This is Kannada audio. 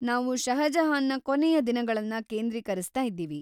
ನಾವು ಷಹಜಹಾನ್‌ನ ಕೊನೆಯ ದಿನಗಳನ್ನ ಕೇಂದ್ರೀಕರಿಸ್ತಾ ಇದೀವಿ.